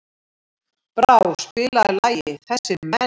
Brá, spilaðu lagið „Þessir Menn“.